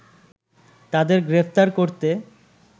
তাদের গ্রেফতার করতে